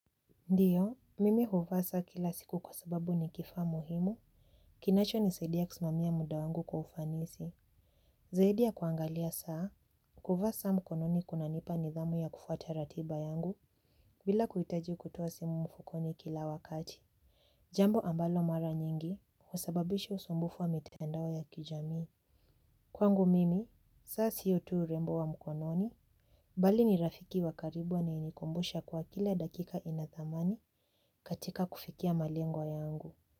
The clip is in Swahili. Ndiyo, mimi huvaa saa kila siku kwa sababu ni kifaa muhimu kinacho nisaidia kusimamia muda wangu kwa ufanisi. Zaidi ya kuangalia saa, kuvaa saa mkononi kuna nipa nidhamu ya kufuata ratiba yangu bila kuhitaji kutoa simu mfukoni kila wakati. Jambo ambalo mara nyingi, husababishi usumbufu wa mitandao ya kijamii. Kwangu mimi, saa siyo ttu urembo wa mkononi, bali ni rafiki wa karibu anaye nikumbusha kwa kila dakika ina thamani katika kufikia malengo yangu.